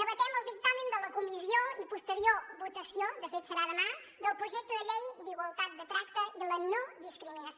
debatem el dictamen de la comissió i posterior votació de fet serà demà del projecte de llei per a la igualtat de tracte i la no discriminació